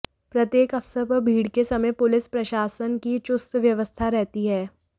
प्रत्येक अवसर पर भीड़ के समय पुलिस प्रशासन की चुस्त व्यवस्था रहती है